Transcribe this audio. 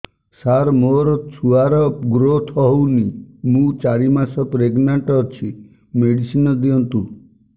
ସାର ମୋର ଛୁଆ ର ଗ୍ରୋଥ ହଉନି ମୁ ଚାରି ମାସ ପ୍ରେଗନାଂଟ ଅଛି ମେଡିସିନ ଦିଅନ୍ତୁ